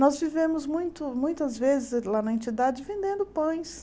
Nós vivemos muito muitas vezes lá na entidade vendendo pães.